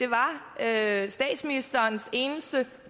er var statsministerens eneste